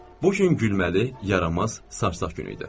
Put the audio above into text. Bu gün gülməli, yaramaz, sarsaq gün idi.